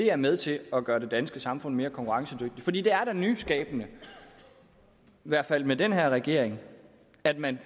er med til at gøre det danske samfund mere konkurrencedygtigt for det er da en nyskabelse i hvert fald med den her regering at man